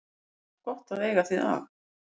Þá var gott að eiga þig að.